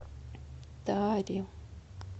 таре